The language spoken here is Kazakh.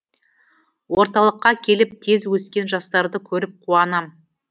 орталыққа келіп тез өскен жастарды көріп қуанам